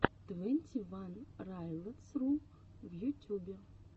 твенти ван райлотс ру в ютюбе